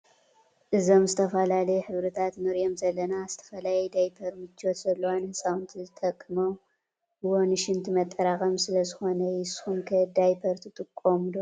እዞም ዝተፈዠላለዮ ሕብርታት እንርኦም ዘለና ዝተፈላዮ ዳይፐር ምቾት ዘለዎ ንህፃውንቲ ዝጥቀምዎ ንሽንቲ መጠራቀሚ ሰለ ዝኮነ እዮ ።ንስኩም ከ ዳይፐር ትጥቀሙ ?